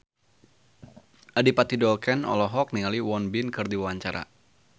Adipati Dolken olohok ningali Won Bin keur diwawancara